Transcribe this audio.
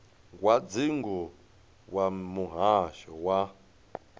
wa dzingu wa muhasho wa